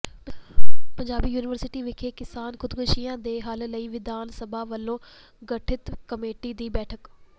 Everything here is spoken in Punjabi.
ਪੰਜਾਬੀ ਯੂਨੀਵਰਸਿਟੀ ਵਿਖੇ ਕਿਸਾਨ ਖੁਦਕੁਸ਼ੀਆਂ ਦੇ ਹੱਲ ਲਈ ਵਿਧਾਨ ਸਭਾ ਵਲੋਂ ਗਠਿਤ ਕਮੇਟੀ ਦੀ ਬੈਠਕ